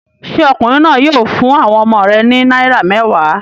Ṣé ọkùnrin náà yóò fún àwọn ọmọ rẹ̀ ní náírà mẹ́wàá?